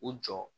U jɔ